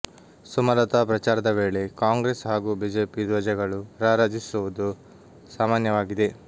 ಸುಮಲತಾ ಪ್ರಚಾರದ ವೇಳೆ ಕಾಂಗ್ರೆಸ್ ಹಾಗೂ ಬಿಜೆಪಿ ಧ್ವಜಗಳು ರಾರಾಜಿಸುವುದು ಸಾಮಾನ್ಯವಾಗಿದೆ